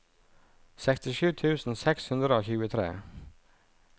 sekstisju tusen seks hundre og tjuetre